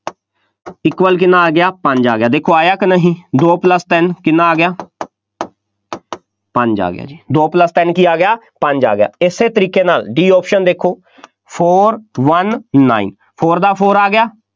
equal ਕਿੰਨਾ ਆ ਗਿਆ, ਪੰਜ, ਆ ਗਿਆ, ਦੇਖੋ ਆਇਆ ਕਿ ਨਹੀਂ, ਦੋ plus ਤਿੰਨ, ਕਿੰਨਾ ਆ ਗਿਆ ਪੰਜ ਆ ਗਿਆ ਜੀ, ਦੋ plus ਤਿੰਨ ਕੀ ਆ ਗਿਆ, ਪੰਜ ਆ ਗਿਆ, ਇਸੇ ਤਰੀਕੇ ਨਾਲ D option ਦੇਖੋ, Four one nine four ਦਾ four ਆ ਗਿਆ,